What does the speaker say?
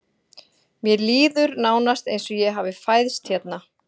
Mér líður nánast eins og ég hafi fæðst hérna.